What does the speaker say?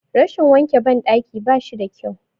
Rashin wanke ban ɗaki bashi da kyau